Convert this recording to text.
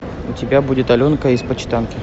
у тебя будет аленка из почитанки